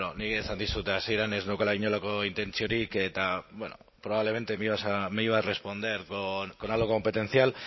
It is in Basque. nik esan dizut hasieran ez neukala inolako intentziorik eta bueno probablemente me iba a responder con algo competencial